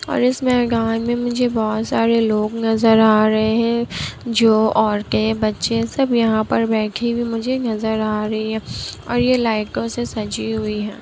और इस मे गाँव मे मुझे बहुत सारे लोग नजर आ रहे हैं। जो औरतें बच्चे सब यहाँ पर बैठे हुए मुझे नजर आ रही है। ओर ये लाइटो से सजी हुई है।